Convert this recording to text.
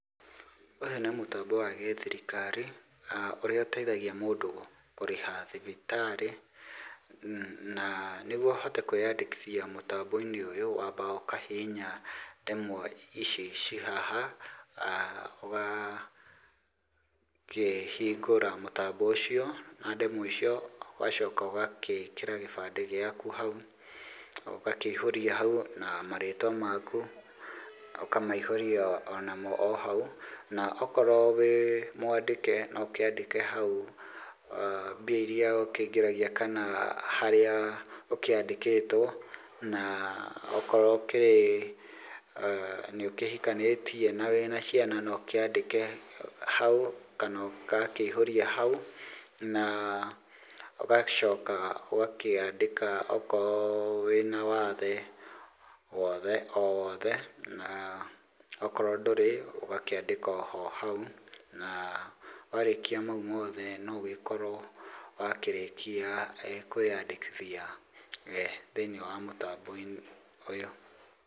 Ũyũ nĩ mũtambo wa gĩthirikari ũrĩa ũteithagia mũndũ kũrĩha thibitarĩ na nĩguo ũhote kwĩnyandĩkithia mũtambo-inĩ ũyũ wambaga ũkahiinya ndemwa ici ci haha, ũgakĩhingũra mũtambo na ndemwa icio, ũgacoka ũgekĩra gĩbandĩ gĩaku hau ũgakĩihũria haũ na marĩtwa maku ũkamaihũria o na mo o hau, okorwo wĩ mwandĩke no ũkĩandĩke hau mbia irĩa ũkĩingĩragia kana harĩa ũkĩandĩkĩtwo na okorwo ũkĩrĩ nĩ ũkĩhikanĩtie na wĩ na ciana no ũkĩandĩke hau kana gakĩihũria hau. Na ũgacoka ũgakĩandĩka okorwo wĩ na wathe wothe o woothe na okorwo ndũrĩ ũgakĩandĩka oho hau, warĩkia ma u mothe no ũgĩgĩkorwo wakĩrĩkĩa kwĩnyandĩkithia thĩiniĩ wa mũtambo-inĩ ũyũ.